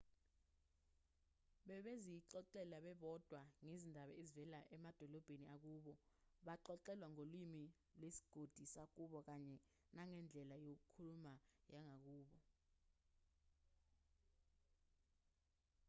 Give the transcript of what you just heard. bebezixoxela bebodwa ngezindaba ezivela emadolobheni akubo baxoxelwa ngolimi lwesigodi sakubo kanye nangendlela yokukhuluma yangakubo